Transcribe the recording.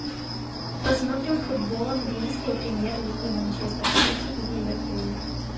посмотрим футбол английской премьер лиги манчестер сити и ливерпуль